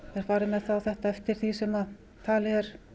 farið með þetta eftir því sem talið er